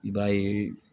I b'a ye